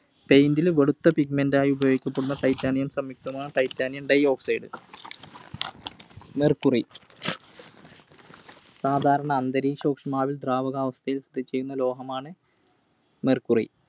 Paint ൽ വെളുത്ത pigment ആയി ഉപയോഗപ്പെടുത്തുന്ന Titanium സംയുക്‌തമാണ് Titanium Dioxide. Mercury. സാധാരണ അന്തരീക്ഷ ഊഷ്മാവിൽ ദ്രാവകാവസ്ഥയിൽ സ്ഥിതി ചെയ്യുന്ന ലോഹമാണ് Mercury